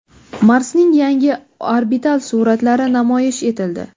Marsning yangi orbital suratlari namoyish etildi.